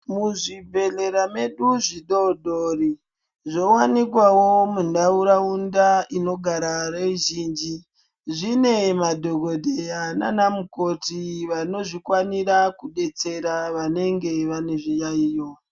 Muzvibhedhlera medu zvidodori zvowanikwawo munharaunda inogara veuzhinji zvine madhokodheya nana mukoti vanozvikwanisa kubetsera vanenge vaine zviyayiyo .